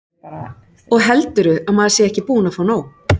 Og heldurðu að maður sé ekki búinn að fá nóg?